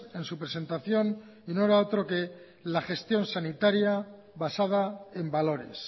en su presentación y no era otro que la gestión sanitaria basada en valores